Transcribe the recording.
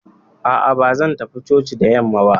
A'a, ba zan tafi coci da yamma ba.